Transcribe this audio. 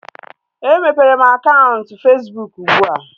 E mepere m akaụntụ Fesbụụk ugbua